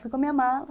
Fui com a minha mala.